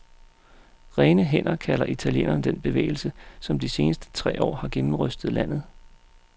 Rene hænder kalder italienerne den bevægelse, som de seneste tre år har gennemrystet landet.